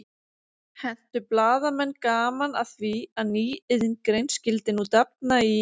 Hentu blaðamenn gaman að því að ný iðngrein skyldi nú dafna í